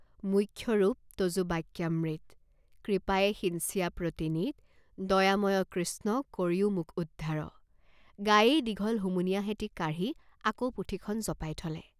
মোক্ষৰূপ তযু বাক্যামৃত, কৃপায়ে সিঞ্চিয়া প্ৰতিনিত,.দয়াময় কৃষ্ণ কৰিয়ো মোক উদ্ধাৰ॥ "..গায়েই দীঘল হুমুনিয়াহ এটি কাঢ়ি আকৌ পুথিখন জপাই থলে।